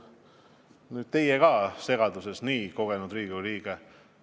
Nüüd olete teie ka segaduses, kuigi olete nii kogenud Riigikogu liige.